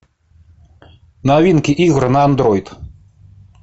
новинки игры на андроид